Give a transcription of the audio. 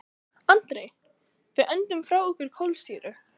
Andri: Við öndum frá okkur kolsýru.